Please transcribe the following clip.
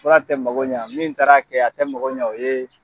Fura tɛ mako ɲɛ min taara kɛ a tɛ mako ɲɛ o ye.